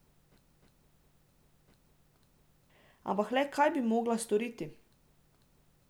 Ampak le kaj bi mogla storiti?